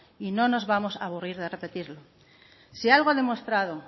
y no nos vamos aburrir de repetirlo si algo ha demostrado